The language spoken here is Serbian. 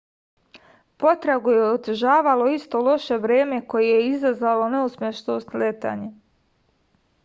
potragu je otežavalo isto loše vreme koje je i izazvalo neuspešno sletanje